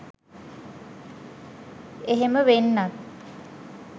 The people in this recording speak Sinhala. එහෙම වෙන්නත්